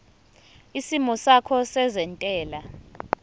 isimo sakho sezentela